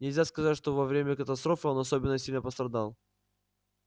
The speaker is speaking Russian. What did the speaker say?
нельзя сказать что во время катастрофы он особенно сильно пострадал